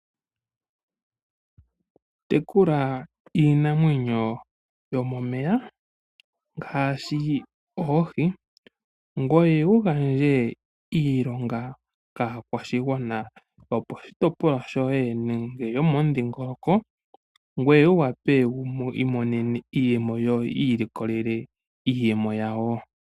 Tekula iinamwenyo yomomeya ngaashi oohi, ngoye wu gandje iilonga kaakwashigwana yoposhitopolwa shoye nenge yomomudhingoloko, ngoye wu wape wu imonene iiyemo, yo yi ilikolele iiyemo yawo.